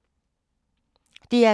DR K